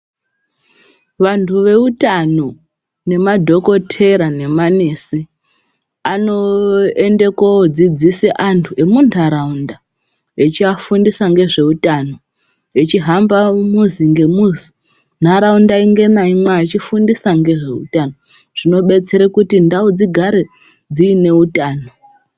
Vantu veutano nemadhokorera nemanesi anoenda koodzidzise antu emuntaraunda echiafundisa ngezveutano echiihamba muzo ngemuzi nharaunda imwe naimwe eifundisa ngezveutano zvinodetsera kuti ndau dzingare dzine utano.